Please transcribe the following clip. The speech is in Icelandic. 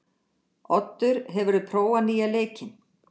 Oddur, hefur þú prófað nýja leikinn?